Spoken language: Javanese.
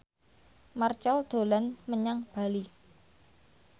Marchell dolan menyang Bali